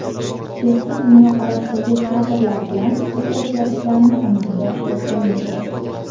Eski dunyoqarashdagi kadrlar bilan bu o‘zgarishlarni amalga oshirib bo‘lmaydi.